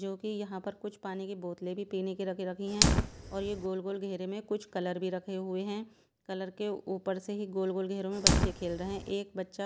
जो कि यहां पर कुछ पानी की बोतलें भी पीने की रख रखी हैं और ये गोल गोल घेरे में कुछ कलर भी रखे हुए हैं कलर के ऊपर से ही गोल गोल घेरों में बच्चे खेल रहे हैं एक बच्चा जो--